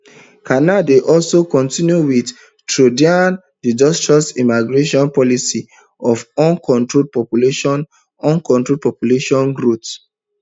carney dey continue wit trudeau disastrous immigration policy of uncontrolled population uncontrolled population growth